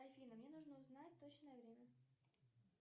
афина мне нужно узнать точное время